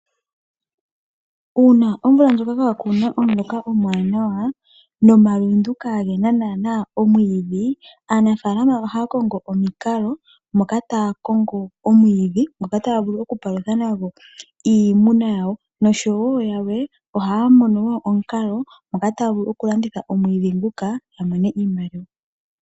Uuna omvula ndjoka kaakuna omuloka omwaanawa nomalundu kaagena naana omwiidhi aanafaalama ohaya kongo omikalo moka taya kongo omwiidhi ngoka taya vuku okupalutha nago iimuna yawo. Noshowo yalwe ohaya mono omukalo moka taya vulu oku landitha omwiidhi nguka ya mone iimaliwa.